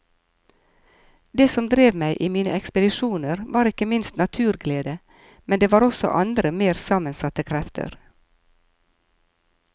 Det som drev meg i mine ekspedisjoner var ikke minst naturglede, men det var også andre mer sammensatte krefter.